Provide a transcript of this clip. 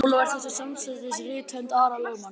Ólafur þekkti samstundis rithönd Ara lögmanns.